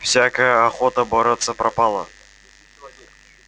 всякая охота бороться пропала